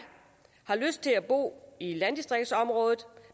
har lyst til at bo i landdistriktsområder